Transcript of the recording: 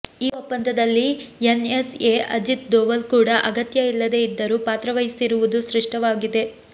ಈ ಒಪ್ಪಂದದಲ್ಲಿ ಎನ್ಎಸ್ಎ ಅಜಿತ್ ಧೋವಲ್ ಕೂಡ ಅಗತ್ಯ ಇಲ್ಲದೆ ಇದ್ದರೂ ಪಾತ್ರ ವಹಿಸಿರುವುದು ಸ್ಪಷ್ಟವಾಗಿದೆ